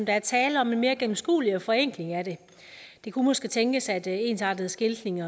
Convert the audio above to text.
er tale om mere gennemskuelighed forenkling af det det kunne måske tænkes at ensartet skiltning